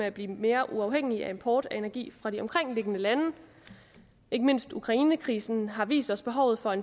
at blive mere uafhængig af import af energi fra de omkringliggende lande ikke mindst ukrainekrisen har vist os behovet for